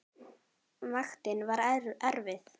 Vaktin var erfið.